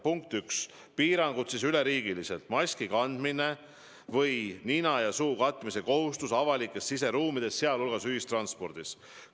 Punkt üks: piirangud üleriigiliselt on maski kandmine või muul moel nina ja suu katmise kohustus avalikes siseruumides, sealhulgas ühistranspordis.